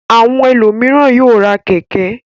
Àwọn ẹlòmíràn yóò ra kẹ̀kẹ́.